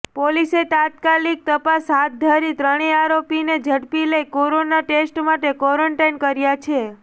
પોલીસે તાત્કાલિક તપાસ હાથ ધરી ત્રણેય આરોપીને ઝડપી લઈ કોરોના ટેસ્ટ માટે ક્વોરન્ટાઈન કર્યા છે